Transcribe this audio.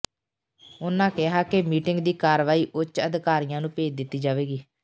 ਉਨ੍ਹਾਂ ਕਿਹਾ ਕਿ ਮੀਟਿੰਗ ਦੀ ਕਾਰਵਾਈ ਉੱਚ ਅਧਿਕਾਰੀਆਂ ਨੂੰ ਭੇਜ ਦਿੱਤੀ ਜਾਵੇਗੀ